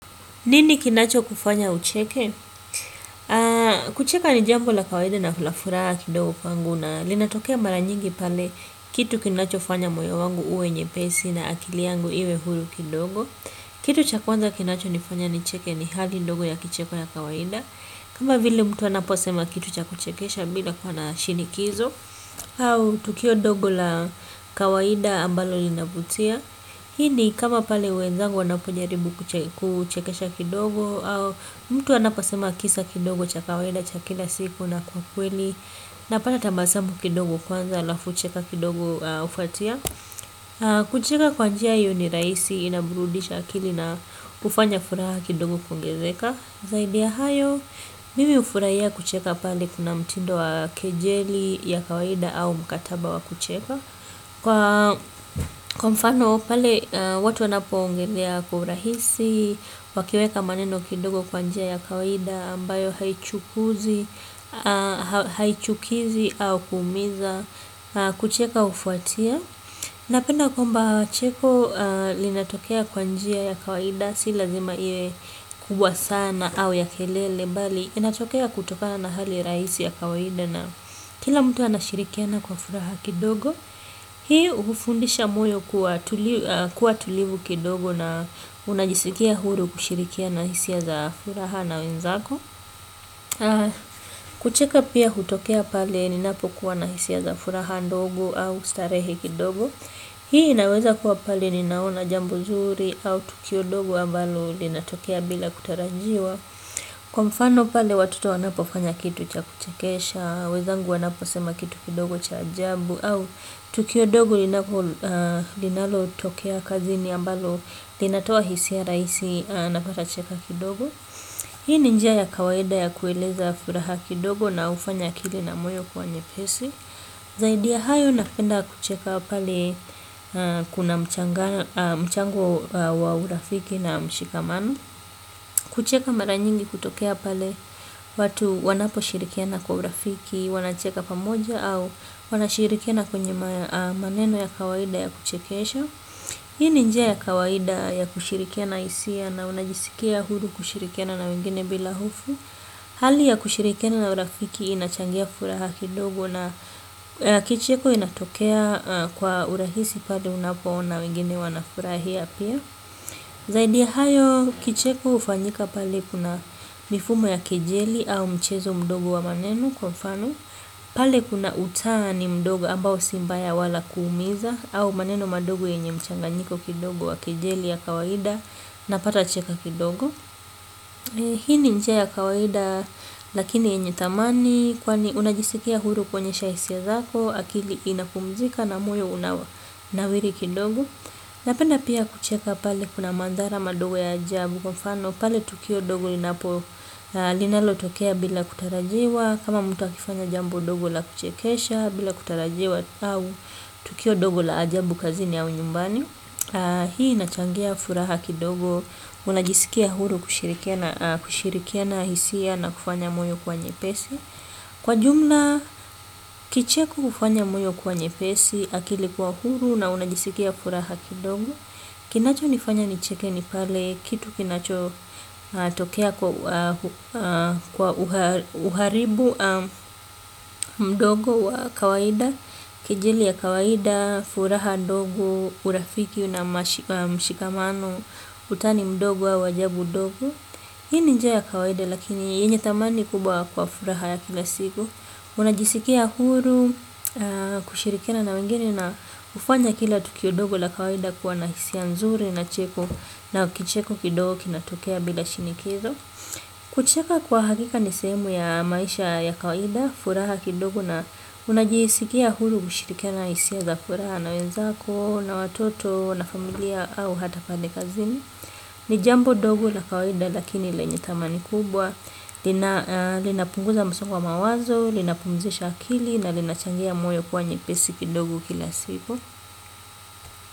Nini kinacho kufanya ucheke? Kucheka ni jambo la kawaida na hula fura kidogo kwangu na linatokea mara nyingi pale kitu kinacho fanya moyo wangu uwe nyepesi na akili yangu iwe hulu kidogo. Kitu cha kwanza kinacho nifanya nicheke ni hali ndogo ya kicheko na kawaida. Kama vile mtu anaposema kitu cha kuchekesha bila kuwa na shinikizo au tukio dogo la kawaida ambalo linavutia. Hini kama pale wenzangu wanapojaribu kuchekesha kidogo. Mtu anaposema kisa kidogo cha kawaida cha kila siku na kwa kweli napata tambasambu kidogo kwanza lafu cheka kidogo ufuatia. Kucheka kwa njia iyo ni raisi inabrudisha akili na kufanya furaha kidogo kuongezeka. Zaidi ya hayo, mimi ufurahia kucheka pale kuna mtindo wa kejeli ya kawaida au mkataba wa kucheka. Kwa mfano pale watu wanapo ongelea kwa urahisi wakiweka maneno kidogo kwanjia ya kawaida ambayo haichukizi au kumiza. Kucheka ufuatia. Napenda kuamba cheko linatokea kwa njia ya kawaida. Si lazima iwe kubwa sana au ya kelele. Bali inatokea kutoka na hali raisi ya kawaida. Kila mtu anashirikiana kwa furaha kidogo. Hii ufundisha moyo kuwa tulivu kidogo na unajisikia huru kushirikia na hisia za furaha na wenzako. Kucheka pia hutokea pale ninapokuwa na hisia za furaha ndogo au starehe kidogo. Hii inaweza kuwa pale ninaona jambo zuri au tukio ndogo ambalo linatokea bila kutarajiwa. Kwa mfano pale watoto wanapo fanya kitu cha kuchakesha, wezangu wanapo sema kitu kidogo cha ajambu. Au tukio dogo linalo tokea kazini ambalo linatoa hisiya raisi napatacheka kidogo hii ni njia ya kawaida ya kueleza furaha kidogo na ufanya akili na moyo kuwa nyepesi zaidi ya hayo napenda kucheka pale kuna mchango wa urafiki na mshikamano kucheka mara nyingi kutokea pale watu wanapo shirikiana kwa urafiki wanacheka pamoja au wanashirikiana kwenye maneno ya kawaida ya kuchekesha hii ni njia ya kawaida ya kushirikena isia na unajisikia huru kushirikiana na wengine bila hofu hali ya kushirikiana na urafiki inachangia furaha kidogo na kicheko inatokea kwa urahisi pale unapoona wengine wanafurahia pia zaidi ya hayo. Kicheko hufanyika pale kuna mifumo ya kejeli au mchezo mdogo wa maneno kwa mfano pale kuna utani mdogo ambao si mbaya wala kuumiza, au maneno madogo yenye mchanganyiko kidogo wa kejeli ya kawaida. Napata cheka kidogo. Hii ni njia ya kawaida lakini yenye thamani kwani unajisikia huru kuonyesha hisia zako, akili inapumzika na moyo unanawiri kidogo. Napenda pia kucheka pale kuna mandhara madogo ya ajabu. Kwa mfano pale tukio dogo linapo linalotokea bila kutarajiwa, kama mtu akifanya jambo dogo la kuchekesha bila kutarajiwa au tukio dogo la ajabu kazini au nyumbani. Hii inachangia furaha kidogo. Unajisikia huru kushirikiana, kushirikiana hisia na kufanya moyo kuwa nyepesi. Kwa jumla kicheko hufanya moyo kuwa nyepesi, akili kuwa huru na unajisikia furaha kidogo. Kinachonifanya nicheke ni pale kitu kinachotokea kwa uharibu mdogo wa kawaida kejili ya kawaida, furaha ndogo, urafiki na mshikamano, utani mdogo au wajabu dogo. Hii ni njia ya kawaida lakini yenye thamani kubwa kwa furaha ya kila siku unajisikia huru, kushirikina na wengine na kufanya kila tukio dogo la kawaida kuwa na hisia nzuri na cheko na kicheko kidogo kinatokea bila shinikizo. Kucheka kwa hakika ni sehemu ya maisha ya kawaida, furaha kidogo na unajisikia huru kushirikiana na hisia za furaha na wenzako na watoto na familia au hata pale kazini, ni jambo dogo la kawaida lakini lenye thamani kubwa, linapunguza msongo wa mawazo, linapumzisha akili na linachangia moyo kuwa nyepesi kidogo kila siku.